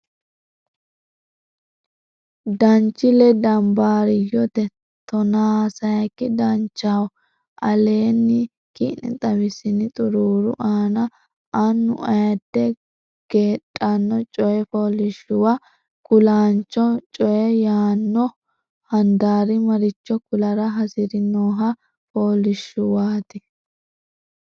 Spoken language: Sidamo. Danchile Danbaariyyote tonaa sayikki Danchaho aleenni ki ne xawissini xuruuri aana annu ayidde gedhanno coy fooliishshuwa kulaancho coy yaanno handaari maricho kulara hasiri noha fooliishshuwaati.